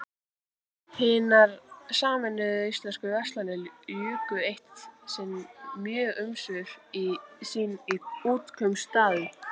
Hinar sameinuðu íslensku verslanir juku eitt sinn mjög umsvif sín í Útkaupstaðnum.